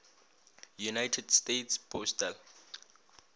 united states postal